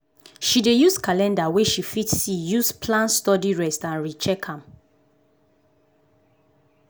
she dey use calender wey she fit see use plan studyrest and recheck am.